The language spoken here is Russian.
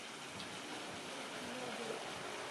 нобель